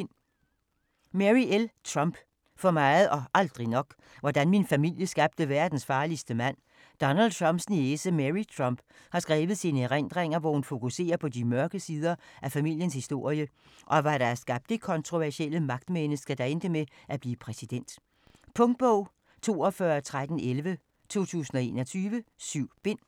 Trump, Mary L.: For meget og aldrig nok: hvordan min familie skabte verdens farligste mand Donald Trumps niece, Mary Trump, har skrevet sine erindringer, hvor hun fokuserer på de mørke sider af familiens historie, og hvad der har skabt det kontroversielle magtmenneske, der endte med at blive præsident. Punktbog 421311 2021. 7 bind.